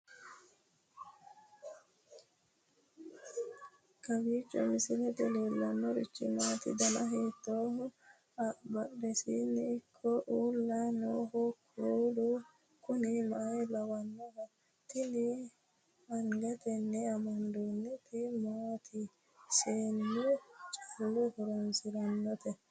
kowiicho misilete leellanorichi maati ? dana hiittooho ?abadhhenni ikko uulla noohu kuulu kuni maa lawannoho? tini angatenni amandoonniti maaati seennu callu horoonsirannote